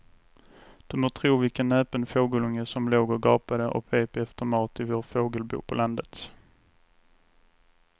Du må tro vilken näpen fågelunge som låg och gapade och pep efter mat i vårt fågelbo på landet.